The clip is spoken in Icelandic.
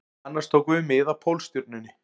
Annars tókum við mið af Pólstjörnunni